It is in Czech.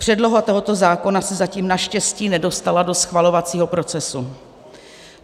Předloha tohoto zákona se zatím naštěstí nedostala do schvalovacího procesu.